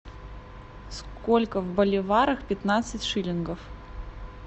сколько в боливарах пятнадцать шиллингов